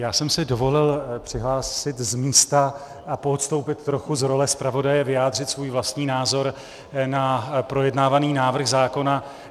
Já jsem si dovolil přihlásit z místa a poodstoupit trochu z role zpravodaje vyjádřit svůj vlastní názor na projednávaný návrh zákona.